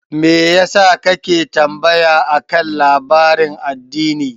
Me yasa kake tambaya akan labarin addini?